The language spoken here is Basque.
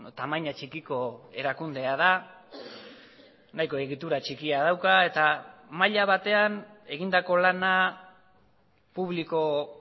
tamaina txikiko erakundea da nahiko egitura txikia dauka eta maila batean egindako lana publiko